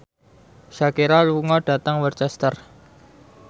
Shakira lunga dhateng Worcester